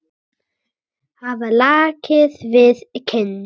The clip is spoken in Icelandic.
Hafa lakið við kinn.